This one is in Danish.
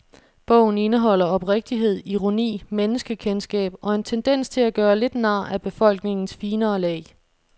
Bogen indeholder oprigtighed, ironi, menneskekendskab og en tendens til at gøre lidt nar af befolkningens finere lag.